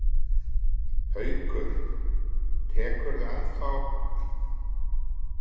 Haukur: Tekurðu í prjónana ennþá?